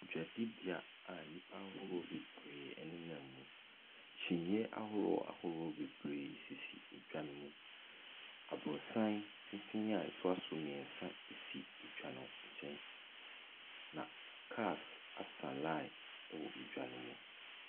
Dwade beaeɛ a nipa ahorow bebree nam mu kyiniiɛ ahorow ahorow bebree sisi ɛdwa ne mu aborosan tenten a ɛtoa so mmiɛnsa si ɛdwa no nkyɛn na kaas asan line wɔ ɛdwa ne mu.